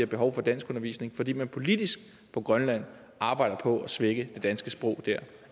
behov for danskundervisning fordi man politisk på grønland arbejder på at svække det danske sprog